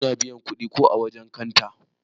Mun biya kudi ko ã wajen kanta.